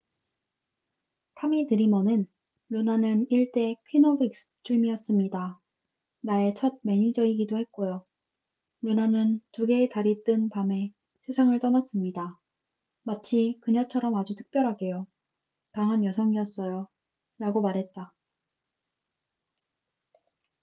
"타미 드리머는 "루나는 1대 queen of extreme이었습니다. 나의 첫 매니저이기도 했고요. 루나는 2개의 달이 뜬 밤에 세상을 떠났습니다. 마치 그녀처럼 아주 특별하게요. 강한 여성이었어요.""라고 말했다.